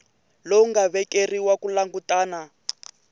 lowu nga vekeriwa ku langutana